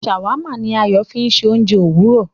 Shawarma ní Ayo fí ṣe oúnjẹ Òwúrọ